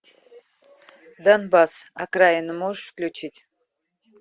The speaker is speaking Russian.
донбасс окраина можешь включить